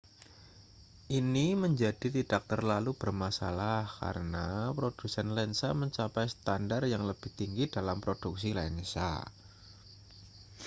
ini menjadi tidak terlalu bermasalah karena produsen lensa mencapai standar yang lebih tinggi dalam produksi lensa